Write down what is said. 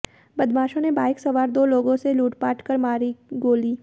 बदमाशों ने बाइक सवार दो लोगों से लूटपाट कर मारी गोली